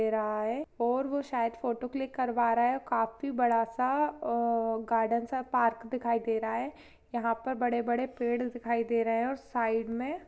--दे रहा है और वो शायद फोटो क्लिक करवा रहा है काफी बड़ा सा अअअअ गार्डन सा पार्क दिखाई दे रहा है यहाँ पर बड़े-बड़े पेड़ दिखाई दे रहे हैऔर साइड में --